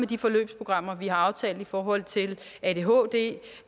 de forløbsprogrammer vi har aftalt i forhold til adhd